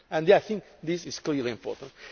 I think this is clearly important.